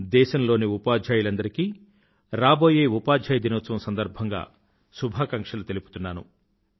దేశంలోని ఉపాధ్యాయులందరికీ రాబోయే ఉపాధ్యాయ దినోత్సవం సందర్భంగా శుభాకాంక్షలు తెలుపుతున్నాను